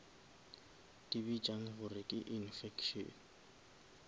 di bitšang gore ke infection